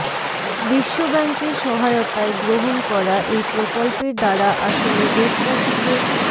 বিশ্ব ব্যাঙ্কের সহায়তায় গ্রহণ করা এই প্রকল্পের দ্বারা আসলে দেশবাসীকে